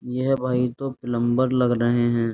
यह भाई तो प्लम्बर लग रहे हैं।